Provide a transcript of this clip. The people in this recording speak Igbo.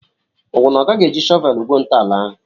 Ọwụ na Ọ gaghị eji shọvelu gwuo ntọala ahụ?